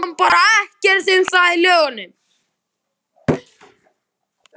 Ég fann bara ekkert um það í lögunum.